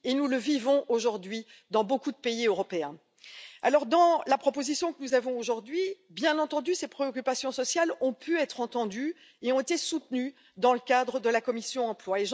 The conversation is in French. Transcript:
Nous le vivons aujourd'hui dans beaucoup de pays européens. Dans la proposition qui est devant nous aujourd'hui, ces préoccupations sociales ont pu être entendues et ont été soutenues dans le cadre de la commission de l'emploi.